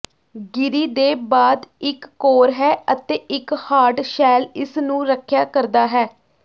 ਗਿਰੀ ਦੇ ਬਾਅਦ ਇੱਕ ਕੋਰ ਹੈ ਅਤੇ ਇੱਕ ਹਾਰਡ ਸ਼ੈੱਲ ਇਸ ਨੂੰ ਰੱਖਿਆ ਕਰਦਾ ਹੈ